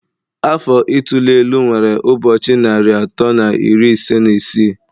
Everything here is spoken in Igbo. Afọ ituli elu nwere ụbọchị narị atọ na iri ise na isii